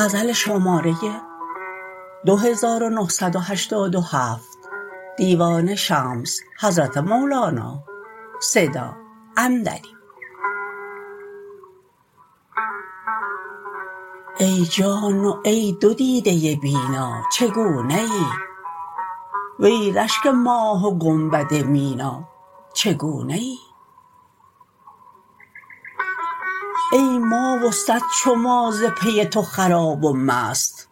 ای جان و ای دو دیده بینا چگونه ای وی رشک ماه و گنبد مینا چگونه ای ای ما و صد چو ما ز پی تو خراب و مست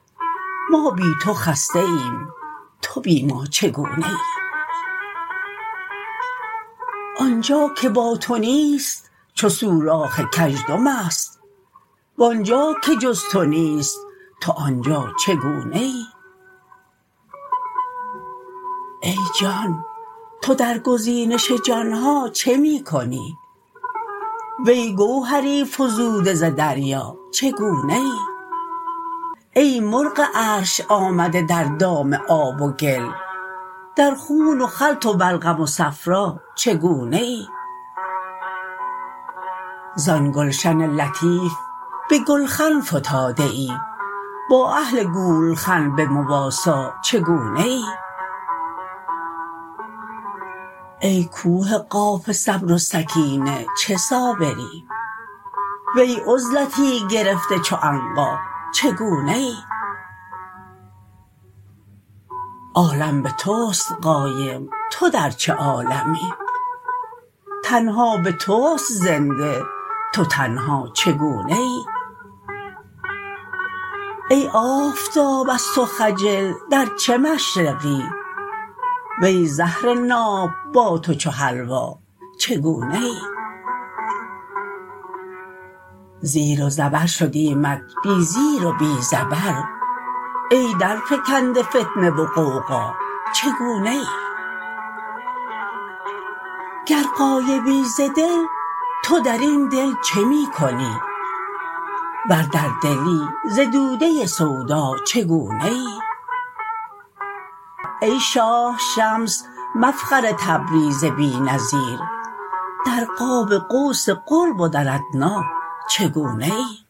ما بی تو خسته ایم تو بی ما چگونه ای آن جا که با تو نیست چو سوراخ کژدم است و آن جا که جز تو نیست تو آن جا چگونه ای ای جان تو در گزینش جان ها چه می کنی وی گوهری فزوده ز دریا چگونه ای ای مرغ عرش آمده در دام آب و گل در خون و خلط و بلغم و صفرا چگونه ای زان گلشن لطیف به گلخن فتاده ای با اهل گولخن به مواسا چگونه ای ای کوه قاف صبر و سکینه چه صابری وی عزلتی گرفته چو عنقا چگونه ای عالم به توست قایم و تو در چه عالمی تن ها به توست زنده تو تنها چگونه ای ای آفتاب از تو خجل در چه مشرقی وی زهر ناب با تو چو حلوا چگونه ای زیر و زبر شدیمت بی زیر و بی زبر ای درفکنده فتنه و غوغا چگونه ای گر غایبی ز دل تو در این دل چه می کنی ور در دلی ز دوده سودا چگونه ای ای شاه شمس مفخر تبریز بی نظیر در قاب قوس قرب و در ادنی چگونه ای